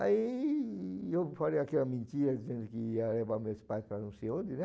Aí eu falei aquela mentira, dizendo que ia levar meus pais para não sei onde, né?